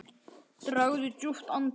Dragðu djúpt andann!